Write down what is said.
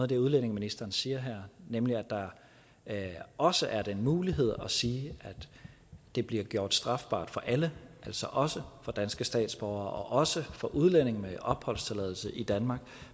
det udlændingeministeren siger her nemlig at der også er den mulighed at sige at det bliver gjort strafbart for alle altså også for danske statsborgere og også for udlændinge med opholdstilladelse i danmark